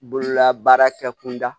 Bololabaara kɛ kunda